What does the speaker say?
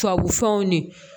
Tubabufɛnw ni